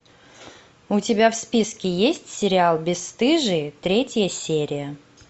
у тебя в списке есть сериал бесстыжие третья серия